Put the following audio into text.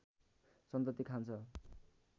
सन्तति खान्छ